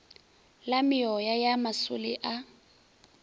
la meoya ya masole a